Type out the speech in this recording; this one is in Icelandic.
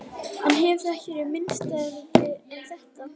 Hann hefur þá ekki verið minnisstæðari en þetta?